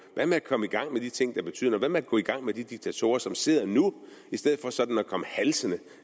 hvad med at komme i gang med de ting der betyder noget hvad med at gå i gang med de diktatorer som sidder nu i stedet for sådan at komme halsende